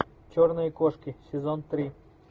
черные кошки сезон три